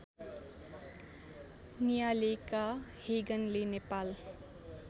नियालेका हेगनले नेपाल